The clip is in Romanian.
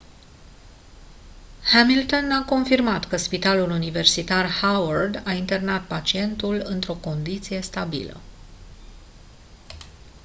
hamilton a confirmat că spitalul universitar howard a internat pacientul într-o condiție stabilă